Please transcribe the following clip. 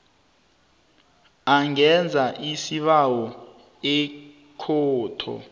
angenza isibawo ekhotho